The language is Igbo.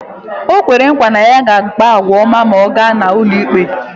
O kwere nkwa na ya ga-akpa àgwà ọma ma anyị gaa n’ụlọikpe